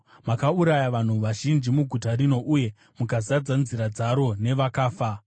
Makauraya vanhu vazhinji muguta rino uye mukazadza nzira dzaro nevakafa.